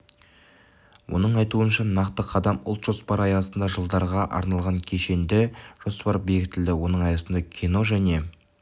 оның айтуынша нақты қадам ұлт жоспары аясында жылдарға арналған кешенді жоспар бекітілді оның аясындағы кино және